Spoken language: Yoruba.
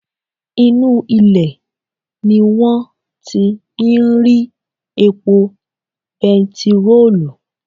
Inú ilẹ̀ ni wọ́n ti ń rí epo bentiróòlù